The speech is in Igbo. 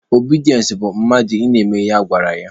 Obidiense bụ mmadụ ị na-eme ihe a gwara ya.